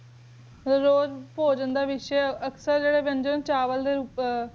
ਫੁਜਨ ਦਾ ਰੁਓਪ ਅਕਸਰ ਅਕਸਰ ਚਾਵਲ ਟੀ ਰੁਪਾਚ